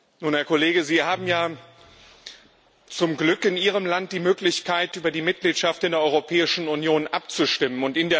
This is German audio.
Nun, Herr Kollege, Sie haben ja zum Glück in Ihrem Land die Möglichkeit, über die Mitgliedschaft in der Europäischen Union abzustimmen.